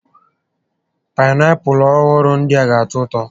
Paịnapụlụ ọhụrụ ndịa ga atọ ụtọ